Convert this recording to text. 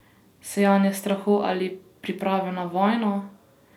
Sejanje strahu ali priprave na vojno?